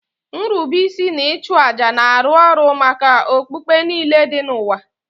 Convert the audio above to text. Nrube isi na ịchụ àjà na-arụ ọrụ maka okpukpe niile dị n'ụwa